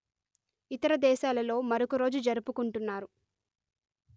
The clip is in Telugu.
ఇతర దేశాలలో మరొక రోజు జరుపుకుంటున్నారు